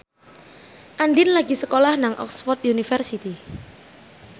Andien lagi sekolah nang Oxford university